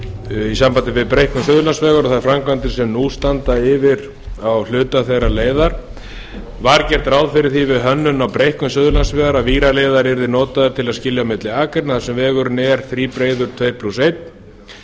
í sambandi við breikkun suðurlandsvegar og þær framkvæmdir sem nú standa yfir á hluta þeirrar leiðar fyrstu var gert ráð fyrir því við hönnun á breikkun suðurlandsvegar að víraleiðari yrði notaður til að skilja á milli akreina þar sem vegurinn verður þríbreiður annars